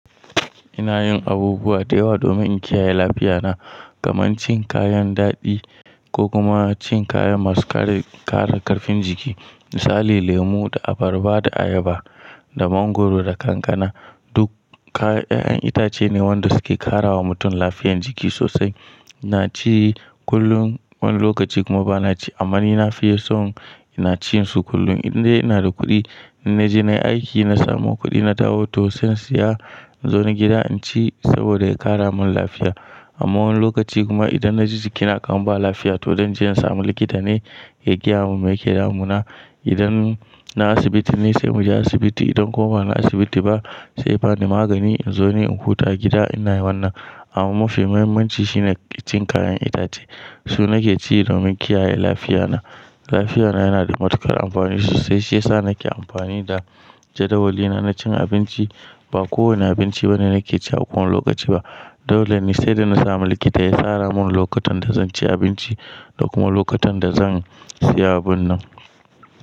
Ina yin abubuwa da yawa domin in kiyaye lafiya na, kamar cin kayan daɗi ko kuma cin kayan masu ƙara ƙarfin jiki. Misali lemo da abarba da ayaba da mangwaro da kankana. Duk 'ya'yan itace ne waɗanda suke ƙara wa mutum lafiyan jiki sosai. Na ci kullum wani lokaci kuma ba na ci, amma ni na fi yeson ina cin su kullum indai ina da kuɗi. In na je na yi aiki, na samo kuɗi, na dawo to sai in siya in zo ni gida in ci saboda ya ƙara min lafiya. Amma wani lokaci kuma idan na ji jikina kamar ba lafiya to dan je in samu likita ne ya gaya mun me yake damuna. Idan na asibiti ne sai mu je asibiti, idan kuma ba na asibiti ba saiya ba ni magani in zo ni in huta a gida ina yawan nan. Amma mafi muhimmanci shine cin kayan itace. Su nake ci domin kiyaye lafiya na. Lafiya na yana da matuƙar amfani sosai shiyasa nake amfani da jadawali na na cin abinci. Ba kowane abinci bane nake ci a kowane lokaci ba. Dole ne sai da na samu likita ya tsara mun lokutan da zan ci abinci da kuma lokutan da zan siya abin nan.